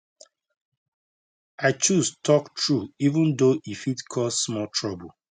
i choose talk true even though e fit cause small trouble